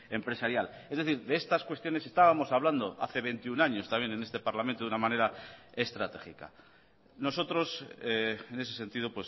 empresarial es decir de estas cuestiones estábamos hablando hace veintiuno años también en este parlamento de una manera estratégica nosotros en ese sentido